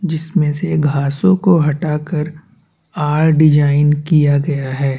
जिस में से घासों को हटा कर आर डिज़ाइन किया गया है।